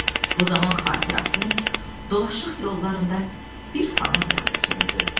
Bu zaman xatirətin dolaşıq yollarında bir fanar yandı, söndü.